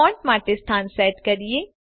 font માટે સ્થાન set કરીએ